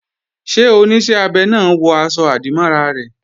Ṣé Oníṣẹ́ abẹ náà wọ aṣọ-àdìmọ́ra rẹ̀?